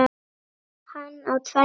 Hann á tvær dætur.